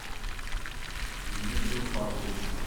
дмитрий уфатович